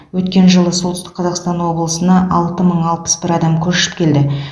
өткен жылы солтүстік қазақстан облысына алты мың алпыс бір адам көшіп келді